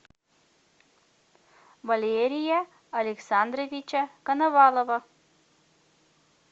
валерия александровича коновалова